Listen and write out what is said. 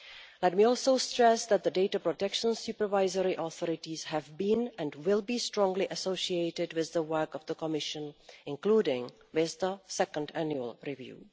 Let me also stress that the data protection supervisory authorities have been, and will be, strongly associated with the work of the Commission, including with the second annual review.